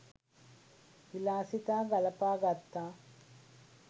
විලාසිතා ගලපා ගත්තා